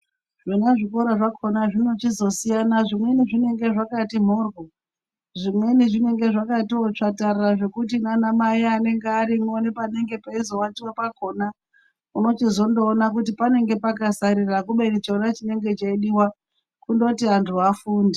Zvona zvikora zvakona zvinochizisiyana zvimweni zvinenge zvakati mhoryo zvimweni zvinenge zvakatiwo tsvatarara zvekuti nanamai anenge arimwo nepanenge peiwatiwa pakona unochizondoona kuti panenge pakasarira kubeni chona chinenge cheidiwa kundoti antu afunde.